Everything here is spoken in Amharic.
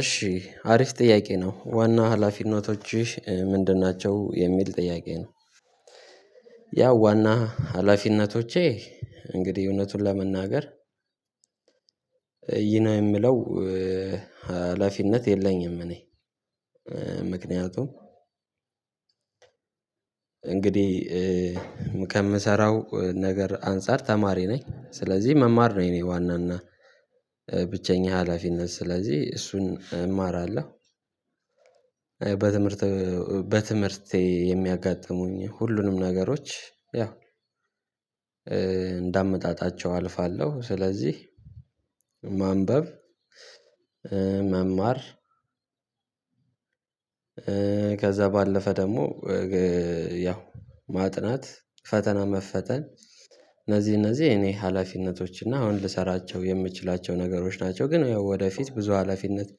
እሺ አሪፍ ጥያቄ ነው ዋና ሀላፊነቶችሽ ምንድን ናቸው የሚል ጥያቄ ነው? ያው ዋና ሀላፊነቶቼ እንግዲህ እውነቱን ለመናገር ይህ የምለው ሀላፊነት የለኝም እኔ ምክንያቱም እንግዲህ ከምሰራው ነገር አንፃር ተማሪ ነኝ ስለዚህ መማር ነው የኔ ዋናና ብቸኛ ሀላፊነት ስለዚህ እሱን እማራለሁ። በትምህርት በትምህርቴ የሚያጋጥሙኝ ሁሉንም ነገሮች ያው እንዳመጣጣቸው አልፋለሁ። ስለዚህ ማንበብ መማር ከዛ ባለፈ ደግሞ ያው ማጥናት ፈተና መፈተን እነዚህ እነዚህ እኔ ሀላፊነቶች እና አሁን ልሰራቸው የምትችላቸው ነገሮች ናቸው። ግን ወደፊት ብዙ ሀላፊነት